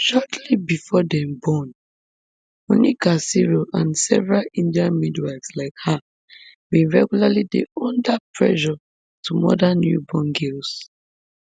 shortly bifor dem born monica siro and several indian midwives like her bin regularly dey under pressure to murder newborn girls